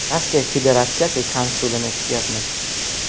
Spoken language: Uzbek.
Rossiya Federatsiyasi konsulini kutyapmiz.